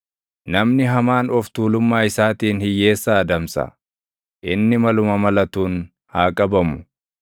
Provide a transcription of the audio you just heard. Namni hamaan of tuulummaa isaatiin hiyyeessa adamsa; inni maluma malatuun haa qabamu.